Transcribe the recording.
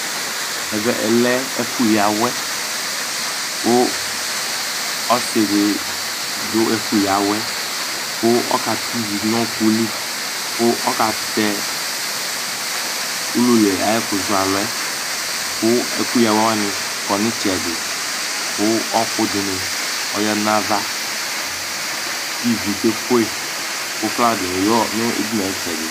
Ɛvɛ lɛ ɛfʋyǝ awɛ kʋ ɔsɩ dʋ ɛfʋyǝ awɛ kʋ ɔkadʋ ivi nʋ ɔɣɔkʋ li kʋ ɔkatɛ ulu li ayʋ ɛkʋzɔ alʋ yɛ kʋ ɛkʋyǝ awɛ wanɩ kɔ nʋ ɩtsɛdɩ kʋ ɔɣɔkʋ dɩnɩ ɔyǝdu nʋ ava kʋ ivi kefue kʋ flawa dɩ lɛ edini yɛ ayʋ ɩtsɛdɩ